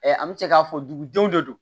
an bɛ se k'a fɔ dugudenw de do